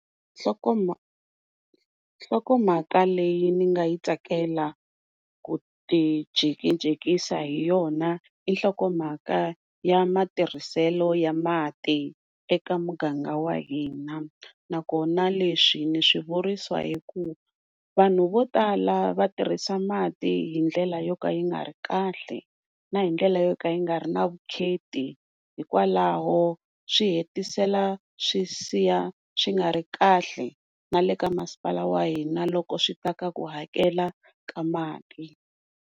Nhlokomhaka leyi ni nga yi tsakela ku ti jikijikisa hi yona i nhlokomhaka ya matirhiselo ya mati eka muganga wa hina, nakona leswi ni swivurisa hi ku vanhu vo tala va tirhisa mati hindlela yo ka yi nga ri kahle na hindlela yo ka yi nga ri na vukheta hikwalaho swi hetisela swi siya swi nga ri kahle na le ka masipala wa hina loko swi ta ka ku hakela ka mali.